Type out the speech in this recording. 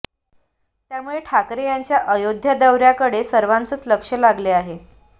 त्यामुळे ठाकरे यांच्या अयोध्या दौऱ्याकडे सर्वांचंच लक्ष लागले आहे